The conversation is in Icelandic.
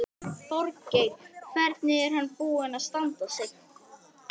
Þorgeir: Hvernig er hann búinn að standa sig?